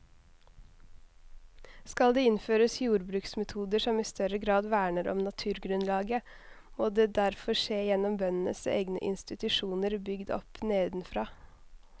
Skal det innføres jordbruksmetoder som i større grad verner om naturgrunnlaget, må det derfor skje gjennom bøndenes egne institusjoner bygd opp nedenfra.